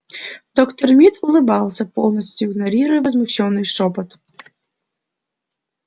доктор мид улыбался полностью игнорируя возмущённый шёпот